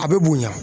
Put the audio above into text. A bɛ bonya